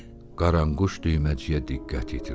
Qaranquş Düyməciyə diqqət yetirdi.